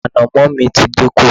ànàmọ́ mi ti dínkù